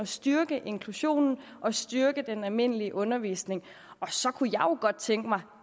styrke inklusionen og styrke den almindelige undervisning og så kunne jeg jo godt tænke mig